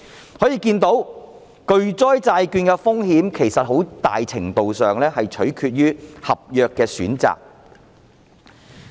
由此可見，其實巨災債券的風險極大程度上是取決於合約的選擇。